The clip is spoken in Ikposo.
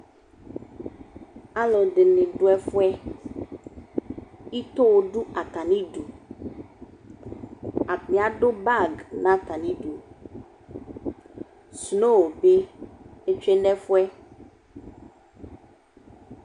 Alʋɛdɩnɩ dʋ ɛfʋɛ, ito dʋ atamidu ; apʋ adʋ bagɩ n'atamidu Sno bɩ otsue n'ɛfʋɛ